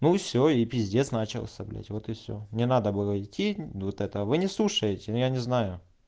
ну все и пиздец начался блять вот и все не надо было идти вот это вы не слушаете ну я не знаю